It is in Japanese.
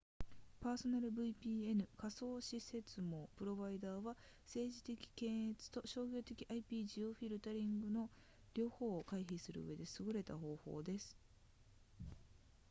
パーソナル vpn 仮想私設網プロバイダーは政治的検閲と商業的 ip ジオフィルタリングの両方を回避するうえで優れた方法です